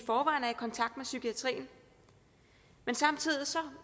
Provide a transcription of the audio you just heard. kontakt med psykiatrien men samtidig